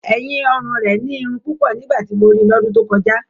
ẹ̀yìn-ọrùn rẹ̀ nírun púpọ̀ nígbà tí mo rí i lọ́dún tó kọjá.